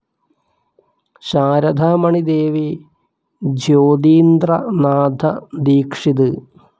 Saradha Mani Devi, Jyotindra Natha Dikshit.